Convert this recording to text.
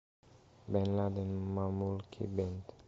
бен ладен мамульки бенд